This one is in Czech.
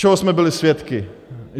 Čeho jsme byli svědky?